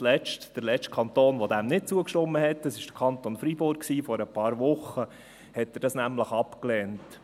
Der letzte Kanton, welcher diesen zugestimmt hat, ist der Kanton Freiburg, der diese vor ein paar Wochen ablehnte.